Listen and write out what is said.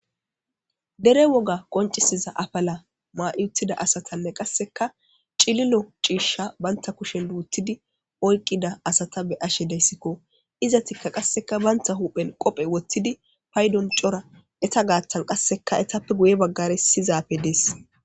Dere woga qoncisiza afala maa'uttida asatanne qasseka cililo ciishsha banta kushen luutidi oyqida asata be ashe deyssikko iza tikka qasseka banta huphen qophe wottidi paydon cora eta gaattan qasseka etappe guye baggare sizaafe dees.